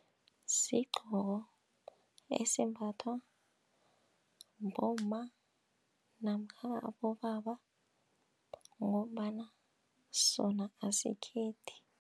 Sigqoko esimbathwa bomma namkha abobaba ngombana sona asikhethi.